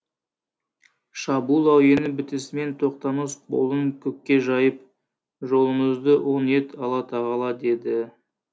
шабуыл әуені бітісімен тоқтамыс қолын көкке жайып жолымызды оң ет алла тағала деді